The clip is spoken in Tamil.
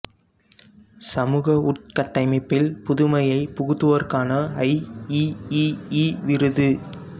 சமூக உட்கட்டமைப்பில் புதுமையை புகுத்துவோருக்கான ஐ இ இ இ விருது